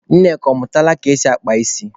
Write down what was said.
Nneka, ọ mụtala ka esi akpa ísí?